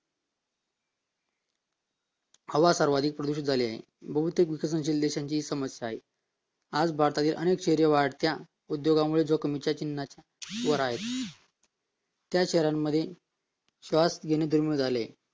हवा सर्वात प्रदूषित झालेली आहे बहुतेक विकसित देशांची हीच समस्या आहे आज भारतात बहुतेक शहरे वाढत्या उद्योगामुळे जोखमीच्या चिन्हावर आहेत त्या शहरांमध्ये श्वास घेणे दुर्मिळ झाले आहे